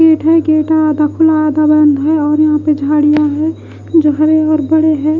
Gate है gate आधा खुला आधा बंद है और यहाँ पे झाड़ियां है जो हरे और बड़े हैं।